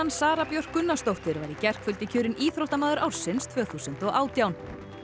Sara Björk Gunnarsdóttir var í gærkvöldi kjörin íþróttamaður ársins tvö þúsund og átján